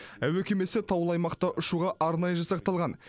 әуе кемесі таулы аймақта ұшуға арнайы жасақталған